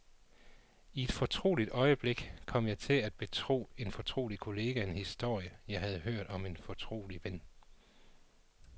I et fortroligt øjeblik kom jeg til at betro en fortrolig kollega en historie, jeg havde hørt om en fortrolig ven.